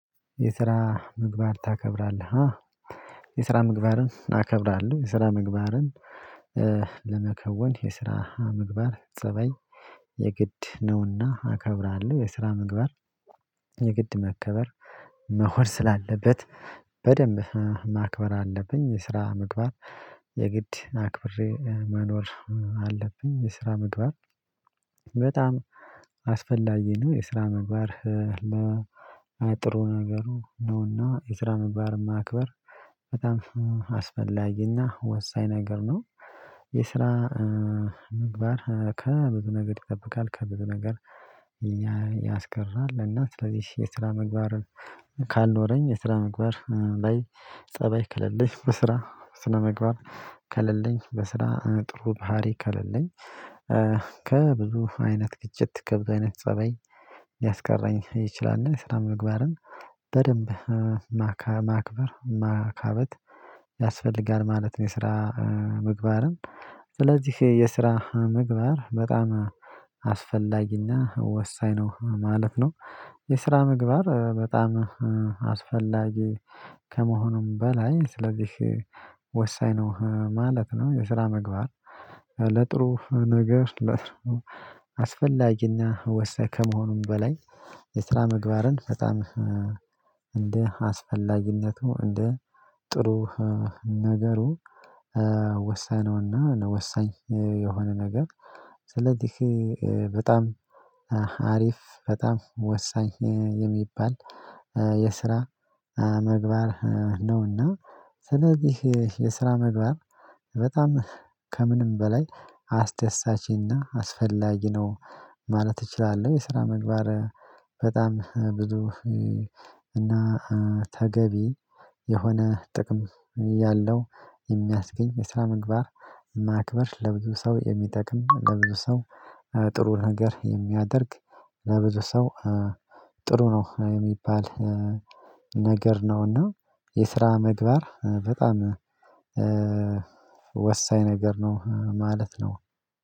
የስራ ምግባር ታከብራለህ? የስራ ምግባርን አከብራለሁ የስራ ምግባርን ለመከወን የስራ ምግባር ፀባይ የግድ ነውና አከብራለሁ የስራ ምግባር የግድ መከበር መሆን ስላለበት በደንብ ማክበር አለብኝ። የስራ ምግባር የግድ አክብሬ መኖር አለብኝ የስራ ምግባር በጣም አስፈላጊ ነው። የስራ ምግባር ለጥሩ ነገሩ ነውና የስራ ምግባርን ማክበር በጣም አስፈላጊና ወሳኝ ነገር ነው። የስራ ምግባር ከብዙ ነገር ይጠብቃል ከብዙ ነገር ያስቀራል። እና ስለዚህ የስራ ምግባር ካልኖረኝ የስራ ምግባር ላይ ፀባይ ከሌለኝ በስራ ስነምግባር ከሌለኝ በስራ ጥሩ ባህሪ ከሌለኝ ከብዙ አይነት ግጭት ከብዙ አይነት ፀባይ ሊያስቀረኝ ይችላል እና የስራ ምግባርን በደንብ ማክበር ማካበት ያስፈልጋል ማለት ነው። የስራ ምግባርም ስለዚህ የስራ ምግባር በጣም አስፈላጊና ወሳኝ ነው። ማለፍ ነው የስራ ምግባር በጣም አስፈላጊ ከመሆኑም በላይ ስለዚህ ወሳኝ ነው ማለት ነው። የስራ መግባር ለጥሩ ነገር አስፈላጊና ወሳኝ ከመሆኑም በላይ የስራ ምግባርን በጣም እንደ አስፈላጊነቱ እንደ ጥሩ ነገሩ ወሰነውና ወሳኝ የሆነ ነገር ስለዚህ በጣም አሪፍ በጣም ወሳኝ የሚባል የስራ መግባር ነውና። ስለዚህ የስራ ምግባር በጣም ከምንም በላይ አስደሳችና አስፈላጊ ነው ማለት እችላለሁ። የስራ ምግባር በጣም ብዙ እና ተገቢ የሆነ ጥቅም ያለው የሚያስገኝ የስነ ምግባር ማክበር ለብዙ ሰው የሚጠቅም ለብዙ ሰው ጥሩ ነገር የሚያደርግ ለብዙ ሰው ጥሩ ነው የሚባል ነገር ነውና። የስራ ምግባር በጣም ወሳኝ ነገር ነው ማለት ነው።